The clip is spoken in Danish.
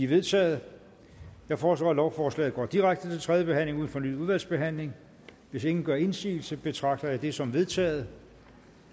vedtaget jeg foreslår at lovforslaget går direkte til tredje behandling uden fornyet udvalgsbehandling hvis ingen gør indsigelse betragter jeg det som vedtaget